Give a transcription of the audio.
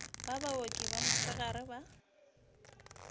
ba baoki ba mosegare ba